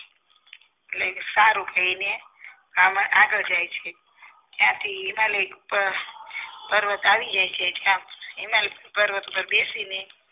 સારુ કહીને બ્રાહ્મણ આગળ જાય છે ત્યાંથી હિમાલય ઉપર પર્વત આવ્યા છે એટલામાં હિમાલય પર્વત પર બેસીને